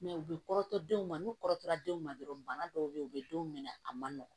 u bɛ kɔrɔtɔ denw ma n'u kɔrɔtɔra denw ma dɔrɔn bana dɔw bɛ yen u bɛ denw minɛ a man nɔgɔn